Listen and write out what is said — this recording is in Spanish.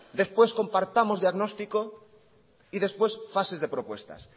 después compartamos diagnóstico y después fases de propuestas